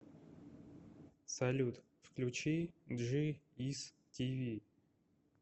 салют включи джи ис ти ви